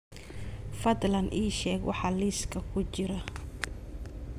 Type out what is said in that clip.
fadlan ii sheeg waxa liiska ku jira